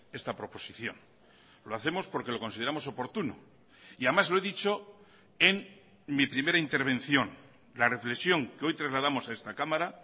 esta proposición lo hacemos porque lo consideramos oportuno y además lo he dicho en mi primera intervención la reflexión que hoy trasladamos a esta cámara